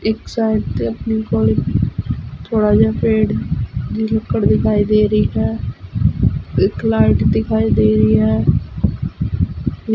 ਇਕ ਸਾਈਡ ਤੇ ਆਪਣੀ ਕੋਲ ਥੋੜਾ ਜਿਹਾ ਪੇਡ ਦੀ ਲੁੱਕੜ ਦਿਖਾਏ ਦੇ ਰਹੀ ਹੈ ਇਕ ਲਾਇਟ ਦਿਖਾਈ ਦੇ ਰਹੀ ਹੈ।